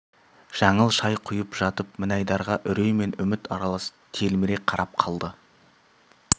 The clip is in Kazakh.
жаңыл шай құйып жатып мінайдарға үрей мен үміт аралас телміре қарап қалды